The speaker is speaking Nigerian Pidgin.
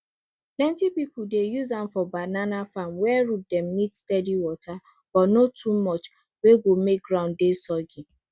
plenty pipu dey use am for banana farm where root dem need steady water but no too much wey go make ground dey soggy